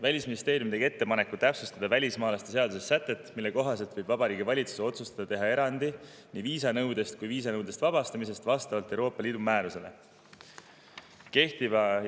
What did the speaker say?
Välisministeerium tegi ettepaneku täpsustada välismaalaste seaduse sätet, mille kohaselt võib Vabariigi Valitsus otsustada teha erandi nii viisanõude puhul kui ka vastavalt Euroopa Liidu määrusele viisanõudest vabastamise puhul.